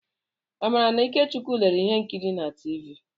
Amarachi na Ikechukwu lere ihe nkiri na tiivi.